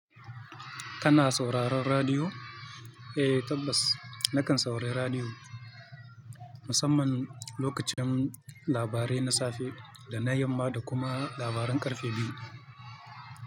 Kana sauraron radiyo? Eh tabbas, na kan saurari radiyo musamman lokacin labarai na safe da na yamma da kuma labaran ƙarfe biyu.